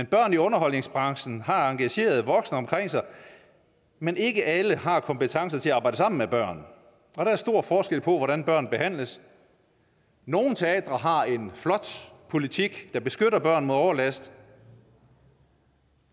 børn i underholdningsbranchen har engagerede voksne omkring sig men ikke alle har kompetencer til at arbejde sammen med børn og der er stor forskel på hvordan børn behandles nogle teatre har en flot politik der beskytter børn mod overlast